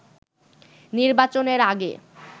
নির্বাচনের আগে